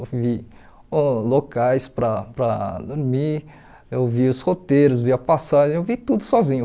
Eu vi locais uh para para dormir, eu vi os roteiros, vi a passagem, eu vi tudo sozinho.